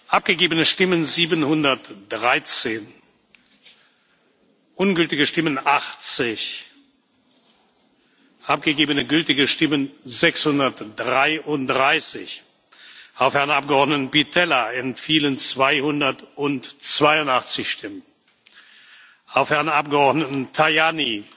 Abgegebene Stimmen 713 Ungültige Stimmen 80 Abgegebene gültige Stimmen 633 Auf Herrn Abgeordneten Pittella entfielen 282 Stimmen, auf Herrn Abgeordneten Tajani